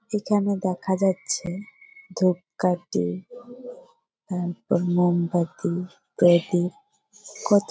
এখানে দেখা যাচ্ছে ধুপকাঠি তারপর মোমবাতি প্রদীপ। কত --